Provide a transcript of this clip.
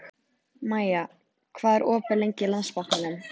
Maja, hvað er opið lengi í Landsbankanum?